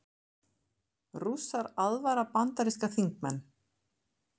Rússar aðvara bandaríska þingmenn